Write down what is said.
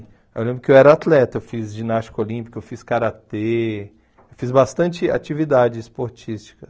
Eu lembro que eu era atleta, eu fiz ginástica olímpica, eu fiz karatê, fiz bastante atividade esportística.